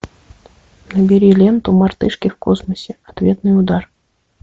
набери ленту мартышки в космосе ответный удар